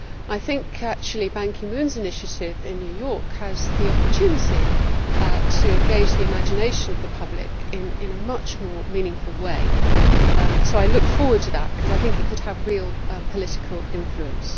I think Ban Ki moon's initiative in New York has the opportunity to engage the imagination of the public in a much more meaningful way. I look forward to that, because I think it could have real political influence.